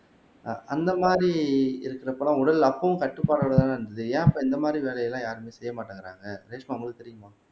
அந்த மாதிரி இருக்கிறப்ப எல்லாம் உடல் அப்பவும் கட்டுப்பாடோட தான இருந்தது ஏன் இப்ப இந்த மாதிரி வேலை எல்லாம் யாருமே செய்ய மாட்டேங்குறாங்க